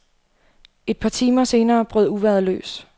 Et par timer senere brød uvejret løs.